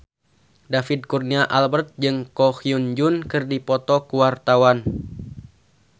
David Kurnia Albert jeung Ko Hyun Jung keur dipoto ku wartawan